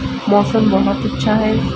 मौसम बहुत अच्छा है।